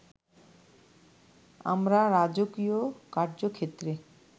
আমরা রাজকীয় কার্য্যক্ষেত্রে